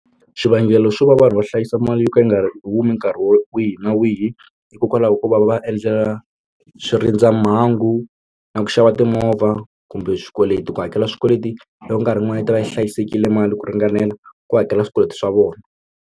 Xivangelo xo va vanhu va hlayisa mali yo ka yi nga humi nkarhi wihi na wihi hikokwalaho ko va va va endlela swi rindza mhangu na ku xava timovha kumbe swikweleti ku hakela swikweleti loko nkarhi yin'wana yi ta va yi hlayisekile mali ku ringanela ku hakela swikweleti swa vona.